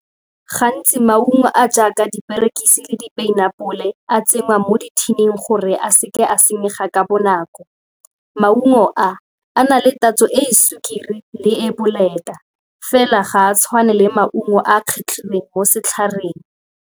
Gantsi maungo a a jaaka diperekisi le di-pineapple a tsenngwa mo di-tin-ing gore a seke a senyega ka bonako. Maungo a a na le tatso e e sukiri le e e boleta fela ga a tshwane le maungo a a kgetlhilweng mo setlhareng.